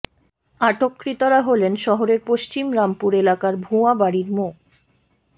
আটককৃতরা হলেন শহরের পশ্চিম রামপুর এলাকার ভূঞা বাড়ির মো